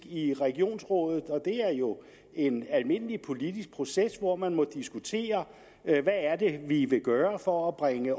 i regionsrådet og det er jo en almindelig politisk proces hvor man må diskutere hvad er det vi vil gøre for at bringe